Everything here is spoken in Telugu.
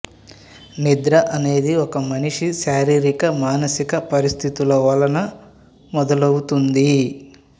నిద్ర అనేది ఒక మనిషి శారీరక మానసిక పరిస్థితులవలన మొదలౌతుంది